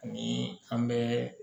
Ni an bɛ